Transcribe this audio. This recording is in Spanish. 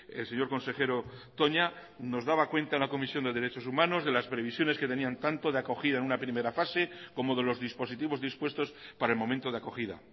el señor consejero toña nos daba cuenta una comisión de derechos humanos de las previsiones que tenían tanto de acogida en una primera fase como de los dispositivos dispuestos para el momento de acogida